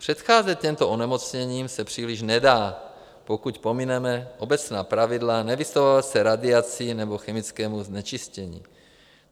Předcházet těmto onemocněním se příliš nedá, pokud pomineme obecná pravidla nevystavovat se radiaci nebo chemickému znečištění.